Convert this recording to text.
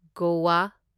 Goa